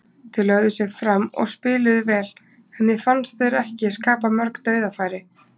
Þeir lögðu sig fram og spiluðu vel, en mér fannst þeir ekki skapa mörg dauðafæri.